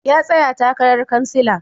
Ya tsaya takarar kansila.